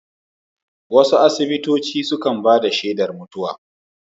Wasu asibitoci sukan bada shedar mutuwa